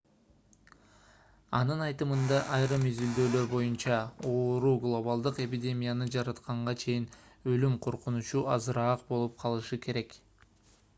анын айтымында айрым изилдөөлөр боюнча оору глобалдык эпидемияны жаратканга чейин өлүм коркунучу азыраак болуп калышы керек